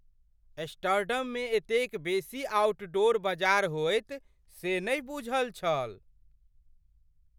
एम्स्टर्डममे एतेक बेसी ऑउटडोर बजार होयत से नहि बूझल छल ।